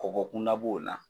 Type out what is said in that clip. Kɔgɔ kunda b'o la